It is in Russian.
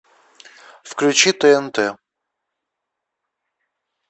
включи тнт